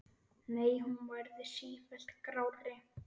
Nei, hún verður sífellt grárri.